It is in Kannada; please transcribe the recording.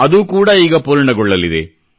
ಅದು ಕೂಡಾ ಈಗ ಪೂರ್ಣಗೊಳ್ಳಲಿದೆ